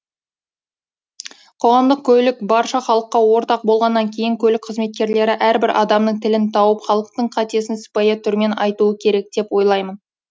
қоғамдық көлік барша халыққа ортақ болғаннан кейін көлік қызметкерлері әрбір адамның тілін тауып халықтың қатесін сыпайы түрмен айтуы керек деп ойлаймын